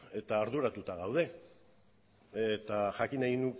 eta arduratuta gaude eta jakin nahi